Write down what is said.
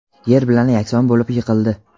yer bilan yakson bo‘lib yiqildi.